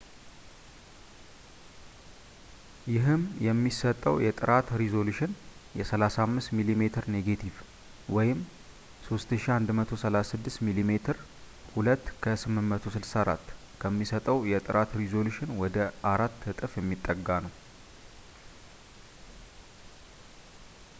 ይህም የሚሰጠው የጥራት ሪዞሉሽን የ35 ሚሜ ኔጋቲቭ 3136ሚሜ2 ከ864 ከሚሰጠው የጥራት ሪዞሉሽን ወደ አራት እጥፍ የሚጠጋ ነው